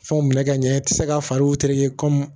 Fɛnw minɛ ka ɲɛ i tɛ se k'a fari tere